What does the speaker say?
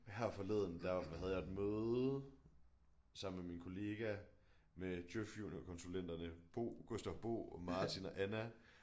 Her forleden der havde jeg et møde sammen med min kollega med DJØF juniorkonsulenterne Bo Gustav Bo og Martin og Anna